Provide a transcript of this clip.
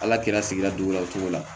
Ala kɛra sigida jugu la o togo la